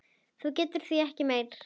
Nú getum við ekki meir.